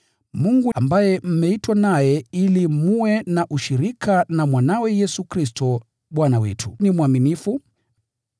Mungu ambaye mmeitwa naye ili mwe na ushirika na Mwanawe Yesu Kristo, Bwana wetu ni mwaminifu.